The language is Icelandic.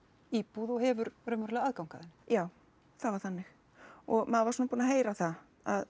íbúð og hefur raunverulega aðgang að henni já það var þannig og maður var svona búinn að heyra það að